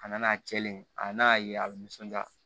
A nana cɛlen a n'a ye a bɛ nisɔndiya